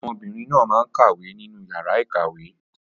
Ọmọbìnrin náà máa ń kàwé ní inú yàrá ìkàwé.